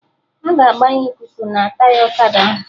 Aga agbanye ikuku na Taya ọkada ahụ